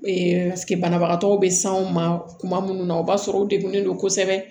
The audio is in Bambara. banabagatɔw bɛ s'anw ma kuma minnu na o b'a sɔrɔ u degunnen don kosɛbɛ